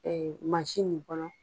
min kɔnɔ